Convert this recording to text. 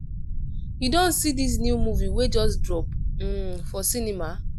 you don see this new movie wey just drop um for cinema?